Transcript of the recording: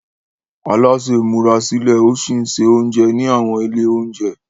Alásè ń múra sílẹ̀ ó sì ń se oúnjẹ ní àwọn ilé oúnjẹ.